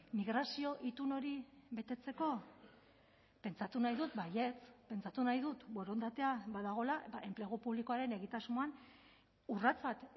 migrazio itun hori betetzeko pentsatu nahi dut baietz pentsatu nahi dut borondatea badagoela enplegu publikoaren egitasmoan urrats bat